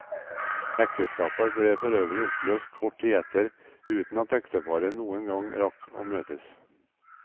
Ekteskapet ble forøvrig oppløst kort tid etter, uten at ekteparet noen gang rakk å møtes.